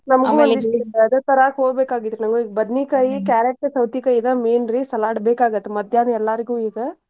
ಅದೇ ತರಾಕ್ ಹೋಗ್ಬೇಕಾಗಿತ್ರಿ carrot ಸೌತಿಕಾಯಿ ಇದ main ರೀ salad ಬೇಕಾಗತ್ತ್ ಮಧ್ಯಾಹ್ನ ಎಲ್ಲರಿಗು ಈಗ.